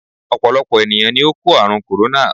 Ọ̀pọ̀lọpọ̀ ènìyàn ni ó kò àrùn "corona"